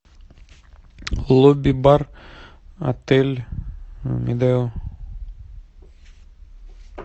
лобби бар отель медео